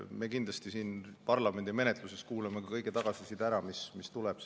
Me kindlasti siin parlamendi menetluses kuulame ära kogu tagasiside, mis tuleb.